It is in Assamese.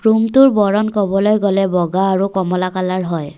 ৰুমটোৰ বৰণ ক'বলৈ গ'লে বগা আৰু কমলা কালাৰ হয়।